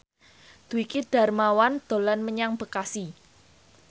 Dwiki Darmawan dolan menyang Bekasi